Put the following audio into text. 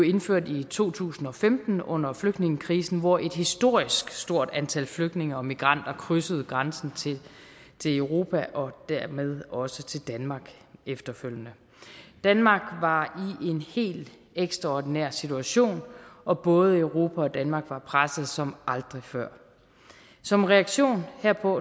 indført i to tusind og femten under flygtningekrisen hvor et historisk stort antal flygtninge og migranter krydsede grænsen til europa og dermed også til danmark efterfølgende danmark var i en helt ekstraordinær situation og både europa og danmark var presset som aldrig før som reaktion herpå